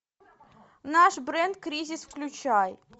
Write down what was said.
наш бренд кризис включай